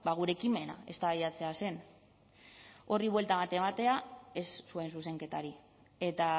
gure ekimena eztabaidatzea zen horri buelta bat ematea ez zuen zuzenketari eta